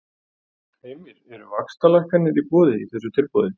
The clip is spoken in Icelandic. Heimir: Eru vaxtalækkanir í boði í þessu tilboði?